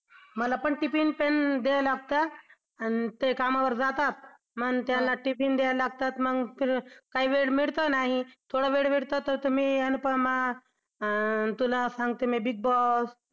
मला पण tiffin तेन द्याय लागतं आणि ते कामावर जातात मग त्यांना tiffin द्यायला लागतात काही वेळ मिळत नाही थोडा वेळ भेटला तर मी अनुपमा अं तुला सांगतो मी Big Boss